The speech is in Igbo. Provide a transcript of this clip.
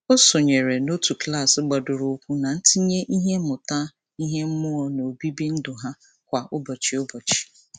O sonyere n'otu klaasị gbadoroụkwụ na ntinye ihe mmụta ihe mmụọ n'obibi ndụ ha kwa ụbọchị. ụbọchị.